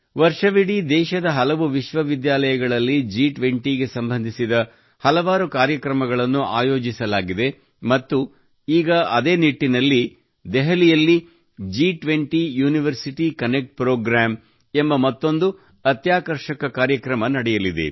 ವರ್ಷವಿಡೀ ದೇಶದ ಹಲವು ವಿಶ್ವವಿದ್ಯಾನಿಲಯಗಳಲ್ಲಿ ಜಿ20 ಗೆ ಸಂಬಂಧಿಸಿದ ಹಲವಾರು ಕಾರ್ಯಕ್ರಮಗಳನ್ನು ಆಯೋಜಿಸಲಾಗಿದೆ ಮತ್ತು ಈಗ ಅದೇ ನಿಟ್ಟಿನಲ್ಲಿ ದೆಹಲಿಯಲ್ಲಿ ಜಿ 20 ಯುನಿವರ್ಸಿಟಿ ಕನೆಕ್ಟ್ ಪ್ರೋಗ್ರಾಂ ಎಂಬ ಮತ್ತೊಂದು ಅತ್ಯಾಕರ್ಷಕ ಕಾರ್ಯಕ್ರಮ ನಡೆಯಲಿದೆ